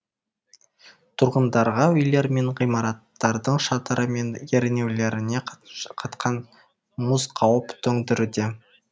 тұрғындарға үйлер мен ғимараттардың шатыры мен ернеулеріне қатқан мұз қауіп төндіруде